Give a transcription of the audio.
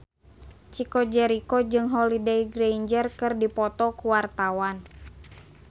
Chico Jericho jeung Holliday Grainger keur dipoto ku wartawan